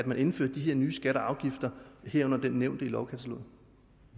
man indfører de her nye skatter og afgifter herunder den nævnte i lovkataloget